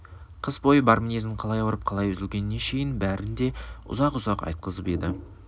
қыс бойғы бар мінезін қалай ауырып қалай үзілгеніне шейін бәрін де ұзақ-ұзақ айтқызып еді